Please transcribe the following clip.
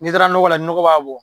N'i taara lajɛ ni nɔgɔ b'a bɔ.